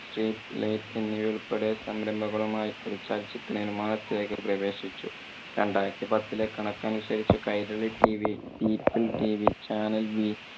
street light എന്നിവ ഉൾപ്പെടെ സംരംഭങ്ങളുമായി ചലച്ചിത്ര നിർമാണത്തിലേക്ക് പ്രവേശിച്ചു. രണ്ടായിരത്തി പത്തിലെ കണക്ക് അനുസരിച്ച് കൈരളി tv, peopletv, channel വീ